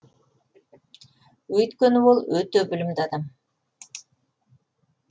өйткені ол өте білімді адам